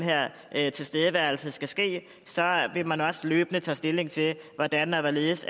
her tilstedeværelse skal ske vil man også løbende tage stilling til hvordan og hvorledes